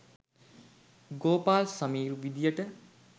Gopal Sameer විධියට